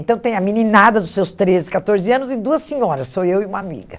Então tem a meninada dos seus treze, catorze anos e duas senhoras, sou eu e uma amiga.